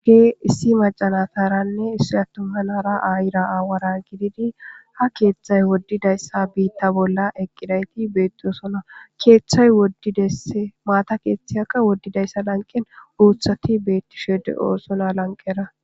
ge issi macanataranne issi attuhanara aayira aawara gididi ha keeththay woddidayssa biitta bolla eqqidayti beetdiosona keeththay ddemaata keeththiyakka woddidayssa lanqen uuthati beettishe de7oosona lanqera